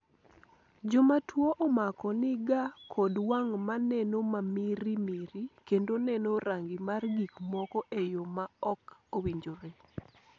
joma tuo omako ni ga kod wang' maneno mamiri miri kendo neno rangi mar gik moko e yo ma ok owinjore